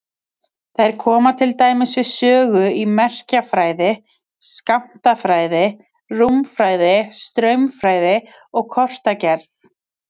Þær koma til dæmis við sögu í merkjafræði, skammtafræði, rúmfræði, straumfræði og kortagerð.